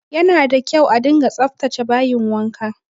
Yana da kyau a dunga tsaftace bayin wanka